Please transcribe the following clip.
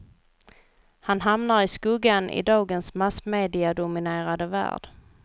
Han hamnar i skuggan i dagens massmediadominerade värld.